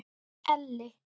Elli